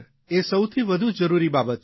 એ સૌથી વધુ જરૂરી બાબત છે